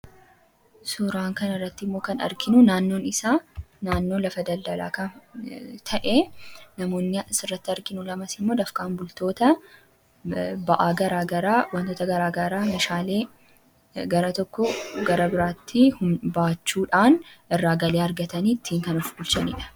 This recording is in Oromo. Suuraa kana irratti kan arginu suuraa namoota dafqaan bultootaa naannoo lafa daldalaatti meeshaalee garaa garaa bakka tokko bakka biraatti baachuudhaan geejibsiisudha. Hojii kana hojjechuun qarshii argataniinis jireenya isaanii gaggeessu.